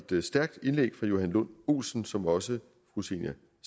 et stærkt indlæg fra johan lund olsen som også fru zenia